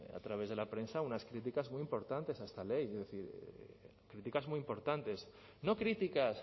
a través de la prensa unas críticas muy importantes a esta ley críticas muy importantes no críticas